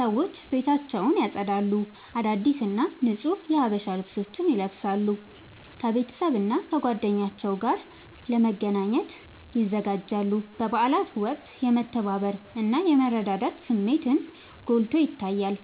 ሰዎች ቤታቸውን ያጸዳሉ፣ አዳዲስ እና ንጹህ የሀበሻ ልብሶችን ይለብሳሉ፣ ከቤተሰብና ከጓደኞቻቸው ጋር ለመገናኘት ይዘጋጃሉ። በበዓላት ወቅት የመተባበር እና የመረዳዳት ስሜትን ጎልቶ ይታያል።